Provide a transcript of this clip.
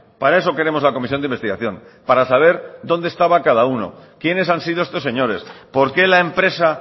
para eso queremos la comisión de investigación para saber dónde estaba cada uno quienes han sido estos señores por qué la empresa